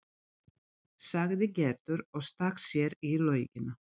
sagði Gerður og stakk sér í laugina.